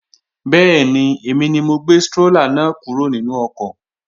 Bẹ́ẹ̀ni, èmi ni mo gbé strólà náà kúrò nínú ọkọ̀